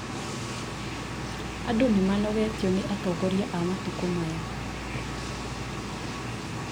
andũ nĩmanogetio nĩ atongoria a matukũ maya